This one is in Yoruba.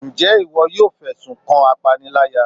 njẹ iwọ yọọ fesún kan apáníláyá?